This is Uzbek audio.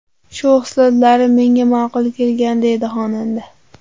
Shu xislatlari menga ma’qul kelgan”,deydi xonanda.